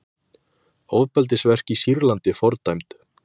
Ofbeldisverk í Sýrlandi fordæmd